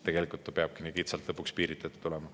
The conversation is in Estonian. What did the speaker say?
Tegelikult ta peabki nii kitsalt lõpuks piiritletud olema.